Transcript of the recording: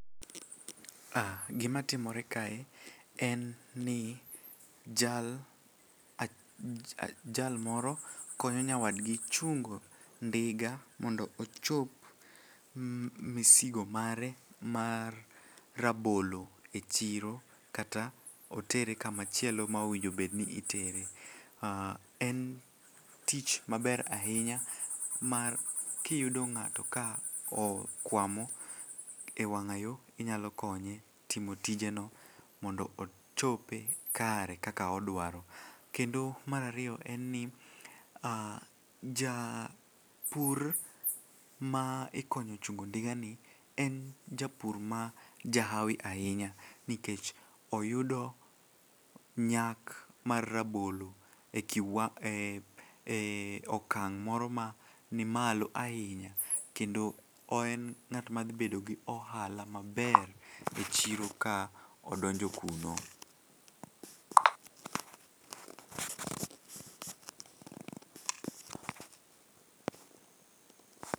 Ah gimatimore kae en ni jal moro konyo nyawadgi chungo ndiga mondo ochop misigo mare mar rabolo e chiro kata otere kamachielo ma owinjobedni itere. En tich maber ahinya mar kiyudo ng'ato ka okwamo e wang'ayo inyalo konye timo tijeno mondo ochope kare kaka odwaro. Kendo mar ariyo en ni japur ma ikonyo chungo ndigani en japur ma jahawi ahinya nikech oyudo nyak mar rabolo e okang' moro ma ni malo ahinya kendo en ng'atma dhibedo gi ohala maber e chiro ka odonjo kuno.